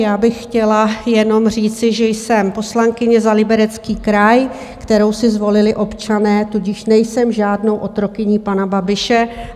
Já bych chtěla jenom říci, že jsem poslankyně za Liberecký kraj, kterou si zvolili občané, tudíž nejsem žádnou otrokyní pana Babiše.